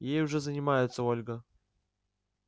ей уже занимаются ольга